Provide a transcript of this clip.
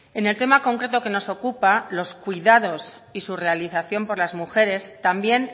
en el tema concreto que nos ocupa los cuidados y su realización por las mujeres también